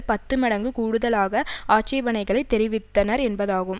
பத்து மடங்கு கூடுதலாக ஆட்சேபனைகளை தெரிவித்தனர் என்பதாகும்